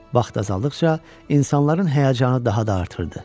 Vaxt azaldıqca insanların həyəcanı daha da artırdı.